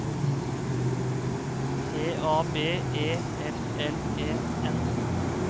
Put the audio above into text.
T A B E L L E N